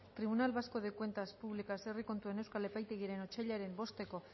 tribunal vasco de cuentas públicas herri kontuen euskal epaitegiaren otsailaren bosteko